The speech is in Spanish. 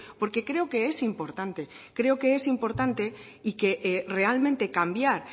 porque creo que es importante creo que es importante y que realmente cambiar